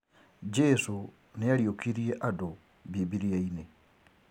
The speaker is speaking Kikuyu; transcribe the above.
Jesũ nĩ ariũkirie andu bibilia-inĩ